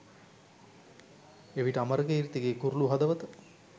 එවිට අමරකීර්තිගේ කුරුලු හදවත